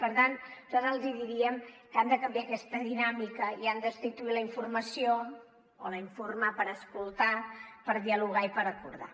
per tant nosaltres els diríem que han de canviar aquesta dinàmica i han de substituir la informació o l’informar per escoltar per dialogar i per acordar